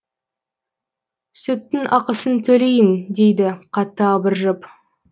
сүттың ақысын төлейін дейді қатты абыржып